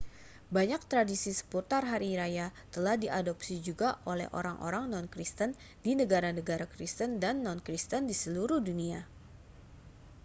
banyak tradisi seputar hari raya telah diadopsi juga oleh orang-orang non-kristen di negara-negara kristen dan non-kristen di seluruh dunia